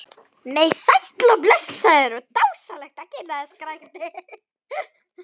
Nei, sæll og blessaður og dásamlegt að kynnast þér, skrækti